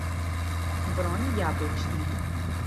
бронь яблочная